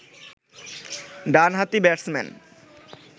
ডানহাতি ব্যাটসম্যান